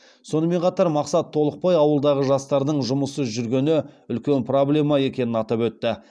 сонымен қатар мақсат толықбай ауылдағы жастардың жұмыссыз жүргені үлкен проблема екенін атап өтті